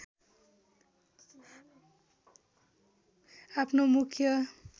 आफ्नो मुख्य